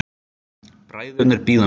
Bræðurnir bíða mín.